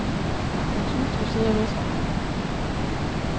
Hans hustru sidder hos ham.